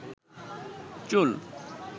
চুল